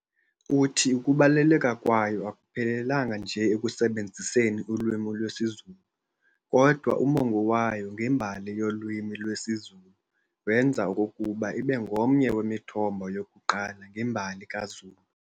Uthi ukubaluleka kwayo akuphelelanga nje ekusebenziseni ulwimi lwesiZulu, kodwa umongo wayo ngembali yolwimi lwesiZulu wenza okokuba ibe ngomnye wemithombo yokuqala ngembali kaZulu.